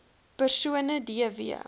persone d w